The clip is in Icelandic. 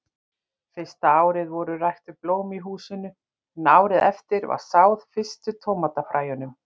Fyrsta árið voru ræktuð blóm í húsinu, en árið eftir var sáð fyrstu tómatafræjunum.